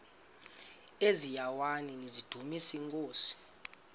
eziaweni nizidumis iinkosi